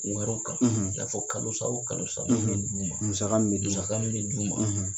Wɛrɛw kan i n'a fɔ kalo san o kalo sa min bɛ d'u ma musaka min bɛ d'u ma